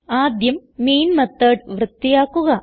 ആദ്യം മെയിൻ മെത്തോട് വൃത്തിയാക്കുക